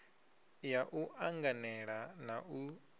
ya u anganela na u